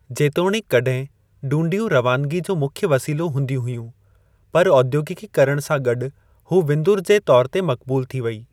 जेतोणीकि कड॒हिं डूंडियूं रवानिगी जो मुख्य वसीलो हूंदियूं हुयूं, पर औद्योगिकीकरणु सां गॾु हू विंदर जे तौरु ते मक़बूलु थी वेई।